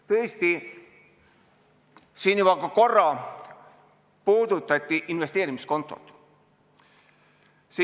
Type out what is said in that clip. Tõesti, siin juba korra puudutati investeerimiskontot.